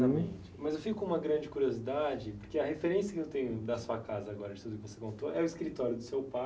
Mas eu fico com uma grande curiosidade, porque a referência que eu tenho da sua casa agora, de tudo que você contou, é o escritório do seu pai.